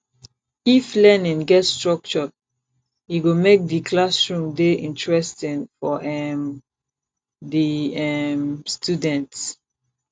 if learning get structure e go make di classroom dey interesting for um di um student